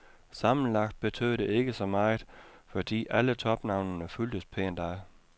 Sammenlagt betød det ikke så meget, fordi alle topnavnene fulgtes pænt ad.